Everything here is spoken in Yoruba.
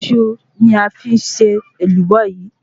Iṣu ni a fi ṣe Èlùbọ́ yi